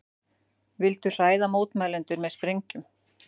Vildu hræða mótmælendur með sprengjum